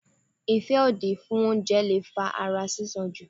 ìfẹ́ òdì fún oúnjẹ leè fa ara sísan jù.